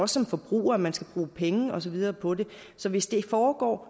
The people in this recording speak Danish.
som forbruger at man skal bruge penge og så videre på det så hvis det foregår